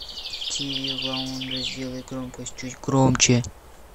тиви в лаунже сделай громкость чуть громче